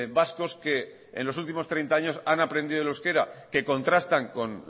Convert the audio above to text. vascos que en los últimos treinta años han aprendido el euskera que contrastan con